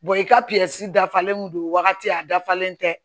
i ka dafalen don wagati a dafalen tɛ